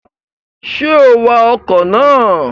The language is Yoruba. Ṣé o wa ọkọ̀ ná à?